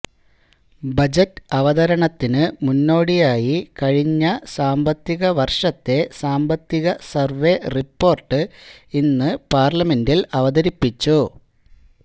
budget അവതരണത്തിന് മുന്നോടിയായി കഴിഞ്ഞ സാമ്പത്തിക വർഷത്തെ സാമ്പത്തിക സർവേ റിപ്പോർട്ട് ഇന്ന് പാർലമെന്റിൽ അവതരിപ്പിച്ചു